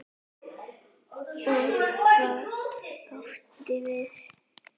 Og hvað áttu við?